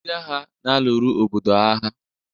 Ndị agha na-alụrụ obodo agha.